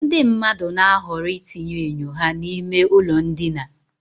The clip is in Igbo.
Ndị mmadụ na-ahọrọ itinye enyo ha n'ime ụlọ ndina